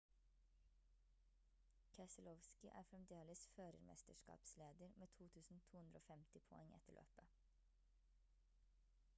keselowski er fremdeles førermesterskapsleder med 2250 poeng etter løpet